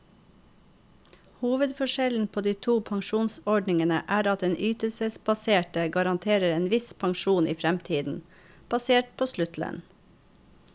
Hovedforskjellen på de to pensjonsordningene er at den ytelsesbaserte garanterer en viss pensjon i fremtiden, basert på sluttlønn.